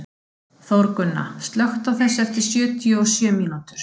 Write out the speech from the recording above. Þórgunna, slökktu á þessu eftir sjötíu og sjö mínútur.